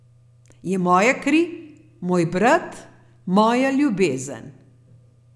Je moja kri, moj brat, moja ljubezen ...